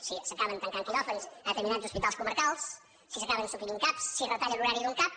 si s’acaben tancant quiròfans a determinats hospitals comarcals si s’acaben suprimint cap si retallen l’horari d’un cap